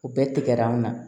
U bɛɛ tigɛra an na